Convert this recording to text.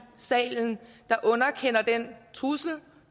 salen der underkender den trussel